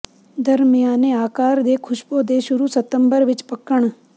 ਦਰਮਿਆਨੇ ਆਕਾਰ ਦੇ ਖੁਸ਼ਬੋ ਦੇ ਸ਼ੁਰੂ ਸਤੰਬਰ ਵਿੱਚ ਪੱਕਣ